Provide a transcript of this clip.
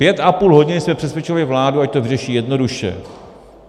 Pět a půl hodiny jsme přesvědčovali vládu, ať to vyřeší jednoduše.